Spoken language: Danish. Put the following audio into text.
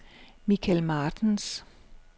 Michel Martens